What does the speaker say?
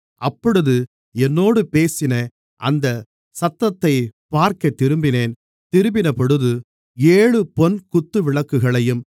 அப்பொழுது என்னோடு பேசின அந்த சத்தத்தைப் பார்க்கத் திரும்பினேன் திரும்பினபொழுது ஏழு பொன் குத்துவிளக்குகளையும்